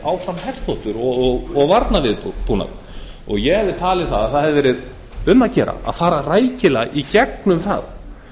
áfram herþotur og varnarviðbúnað ég hefði talið að það hefði verið um að gera að fara rækilega í gegnum það